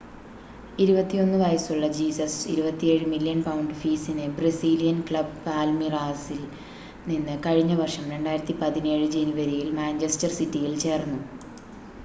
21 വയസ്സുള്ള Jesus 27 million pound ഫീസിന് Brazilian club പാൽമീറാസിൽ നിന്ന് കഴിഞ്ഞ വർഷം 2017 ജനുവരിയിൽ മാഞ്ചസ്റ്റർ സിറ്റിയിൽ ചേർന്നു